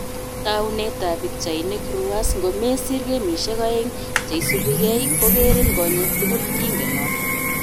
Taunet ab pichainik, Reuers " ngomesiir gemishek aeng cheisubigei kogerin konyeek tugul- kingen noto